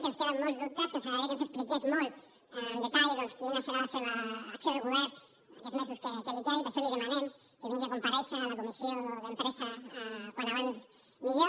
que ens queden molts dubtes que ens agradaria que ens expliqués molt amb detall doncs quina serà la seva acció de govern aquests mesos que li queden i per això li demanem que vingui a comparèixer a la comissió d’empresa com més aviat millor